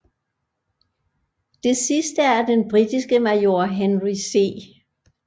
Det sidste er den britiske major Henry C